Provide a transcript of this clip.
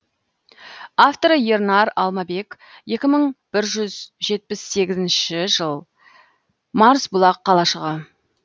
авторы ернар алмабек екі мың бір жүз жетпіс сегізінші жыл марсбұлақ қалашығы